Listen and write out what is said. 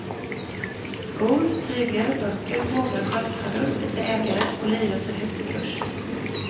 Skor, tyger, böcker, fåglar och sköldpaddor byter ägare och liren står högt i kurs.